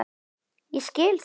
Og ég skil það.